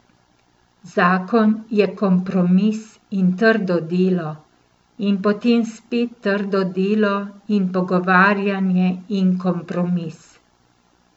Zakon je kompromis in trdo delo, in potem spet trdo delo in pogovarjanje in kompromis.